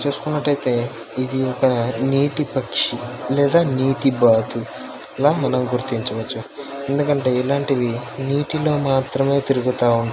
చుసుకున్నట్లయితే ఇది ఒక నీటి పక్షి లేదా నీటి బాతు లా మనం గుర్తించవచ్చు. ఎందుకంటే ఇలాంటివి నీటిలో మాత్రమే తిరుగుత ఉంటాయి.